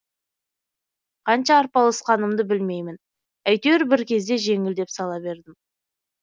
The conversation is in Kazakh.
қанша арпалысқанымды білмеймін айтеуір бір кезде жеңілдеп сала бердім